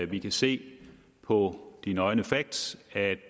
vi kan se på de nøgne facts at